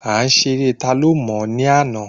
A ṣe eré ta ló mò ní àná